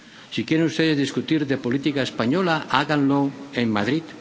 Si quieren ustedes discutir de política española, háganlo en Madrid.